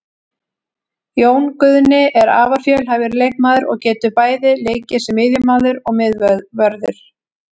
Jón Guðni er afar fjölhæfur leikmaður og getur bæði leikið sem miðjumaður og miðvörður.